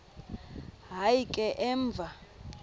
hayi ke emva